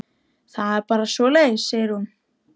Það er bara svoleiðis, segir hún.